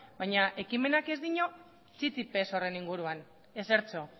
baina ekimenak ez dio txit ere ez horren inguruan ezertxo